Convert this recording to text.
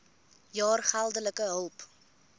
jaar geldelike hulp